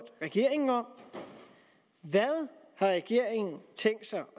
regeringen om hvad har regeringen tænkt sig at